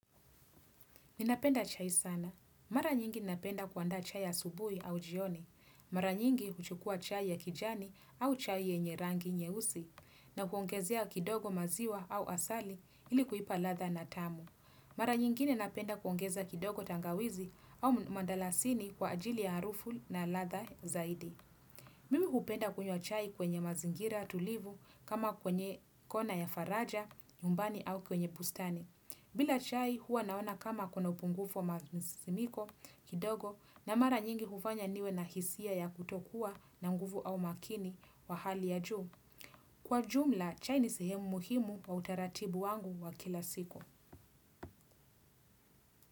Ninapenda chai sana. Mara nyingi ninapenda kuandaa chai asubuhi au jioni. Mara nyingi huchukua chai ya kijani au chai yenye rangi nyeusi na kuongezea kidogo maziwa au asali ili kuipa ladha na tamu. Mara nyingine napenda kuongeza kidogo tangawizi au mdalasini kwa ajili ya harufu na ladha zaidi. Mimi hupenda kunywa chai kwenye mazingira tulivu kama kwenye kona ya faraja, nyumbani au kwenye bustani. Bila chai huwa naona kama kuna upungufu wa masisimiko kidogo na mara nyingi hufanya niwe na hisia ya kutokuwa na nguvu au makini wa hali ya juu. Kwa jumla, chai ni sehemu muhimu kwa utaratibu wangu wa kila siku.